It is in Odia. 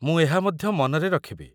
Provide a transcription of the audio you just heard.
ମୁଁ ଏହା ମଧ୍ୟ ମନରେ ରଖିବି।